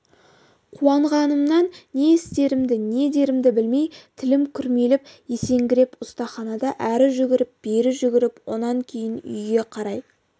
қуанғанымнан не істерімді не дерімді білмей тілім күрмеліп есеңгіреп ұстаханада әрі жүгіріп бері жүгіріп онан кейін үйге қарай